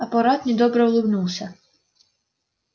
апорат недобро улыбнулся